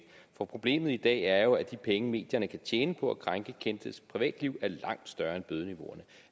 for problemet i dag er jo at de penge medierne kan tjene på at krænke kendtes privatliv